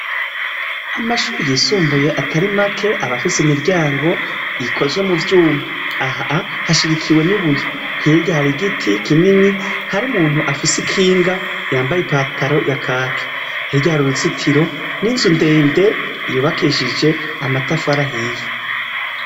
Amashuri yisumbuye atari make aba afise imiryango ikozwe mu vyuma, aha hashigikiwe n'ibuye hirya hari igiti kinini hari umuntu afise ikinga yambaye ipataro ya kaki, hirya hari uruzitiro n'inzu ndende yubakishije amatafari ahiye.